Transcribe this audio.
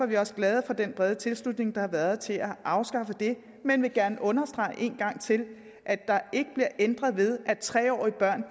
vi også glade for den brede tilslutning der har været til at afskaffe det men jeg vil gerne understrege en gang til at der ikke bliver ændret ved at tre årige børn